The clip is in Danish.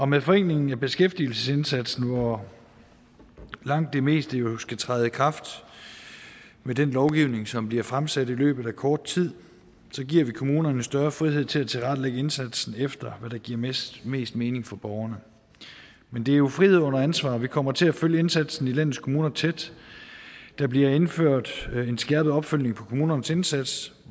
med forenklingen af beskæftigelsesindsatsen hvor langt det meste jo skal træde i kraft med den lovgivning som bliver fremsat i løbet af kort tid giver vi kommunerne større frihed til at tilrettelægge indsatsen efter hvad der giver mest mest mening for borgerne men det er jo frihed under ansvar vi kommer til at følge indsatsen i landets kommuner tæt der bliver indført en skærpet opfølgning på kommunernes indsats